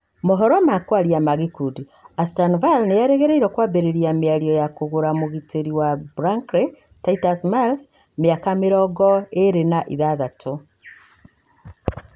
( Mohoro ma Kwaria na Gĩkundi)Ashton Ville nĩ erĩgĩrĩirwo kwambĩrĩria mĩario ya kũgũra mũgitĩri wa Brankly Titus Miles, miaka mĩrongoirĩ na ithathatũ.